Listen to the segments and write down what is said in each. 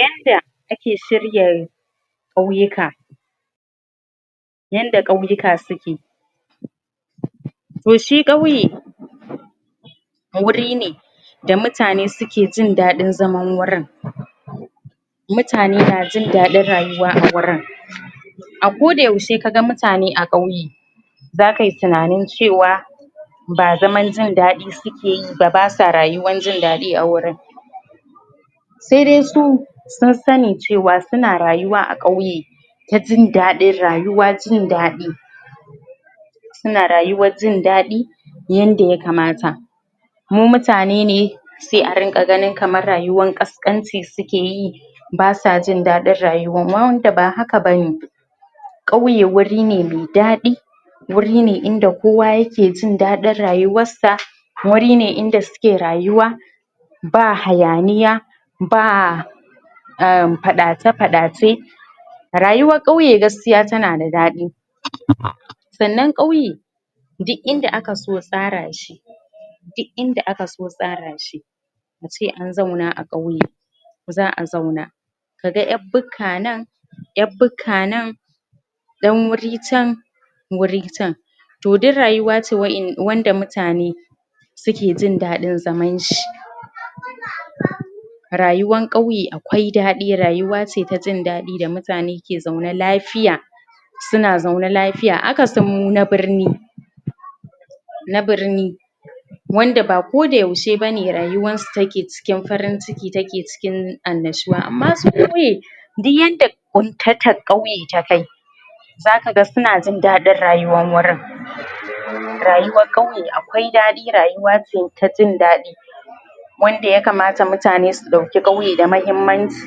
Yanda ake shirya ƙauyuka yanda ƙauyuka suke shi ƙauye wuri ne da mutane suke jin daɗin zaman wurin mutane na jin daɗin rayuwa a wurin a koda yaushe kaga mutane a ƙauye zaka yi tunanin cewa ba zaman jin daɗi suke yi ba basa rayuwan jin daɗi a wurin sai dai su sun sani cewa suna rayuwa a ƙauye ta jin daɗin rayuwa jin daɗi suna rayuwan jin daɗi yanda ya kamata mu mutane ne sai a rinƙa ganin rayuwan ƙasƙanci suke yi ba sa jin daɗin rayuwan wanda ba haka bane ƙauye wuri ne mai daɗi wuri ne wanda kowa ke jin daɗin rayuwansa wuri ne inda suke rayuwa ba hayaniya ba um faɗace faɗace rayuwar ƙauye gaskiya tana da daɗi? sannan ƙauye duk inda aka so tsara shi duk inda aka so tsara shi muce an zauna a ƙauye za a zauna kaga ƴar bukka a nan ƴar bukka nan ɗan wuri can wuri can to duk rayuwa ce wanda mutane suke jin daɗin zaman shi? rayuwan ƙauye akwai daɗi rayuwa ce ta jin daɗi da mutane ke zaune lafiya suna zaune lafiya akasin mu na birni na birni wanda ba koda yaushe bane rayuwan su yake cikin farin ciki take cikin annashuwa amma su ƙauye duk yanda ƙuntatar auye ta kai zaka ga suna jin daɗin rayuwann wurin rayuwan ƙauye akwai daɗi rayuwa ce ta jin daɗi wanda ya kamata mutane su ɗauki ƙauye da mahimmanci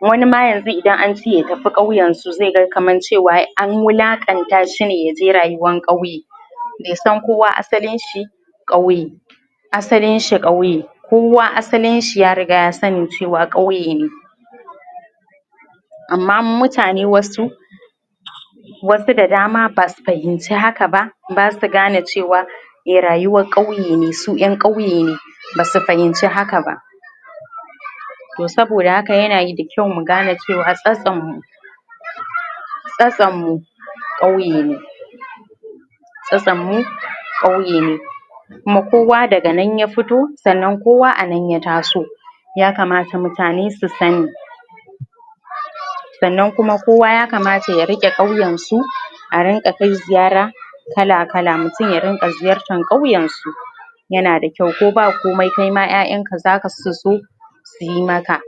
wani ma yanzu idan an ce ya tafi ƙauyen su zai ga kaman cewa an wulaƙanta shi ne yaje rayuwan ƙauye bai san kowa asalin shi ƙauye asalin shi ƙauye kowa asalin shi ya riga ya sani cewa ƙauye ne amma mutane wasu wasu da dama basu fahimci haka ba basu gane cewa rayuwan ƙauye ne su ƴan ƙauye ne basu fahimci haka ba? to saboda haka yana da kyau mu gane cewa tsatson mu tsatson mu ƙauye ne tsatson mu ƙauye ne kuma kowa daga nan ya fito kuma kowa anan ya taso ya kamata mutane su san Sannan kuma kowa ya kamata ya riƙe ƙauyensu a rinƙa kai ziyara kala kala mutun ya rinƙa ziyartar ƙauyensu yana da kyau ko ba komai kaima ƴaƴan ka zasu so suyi maka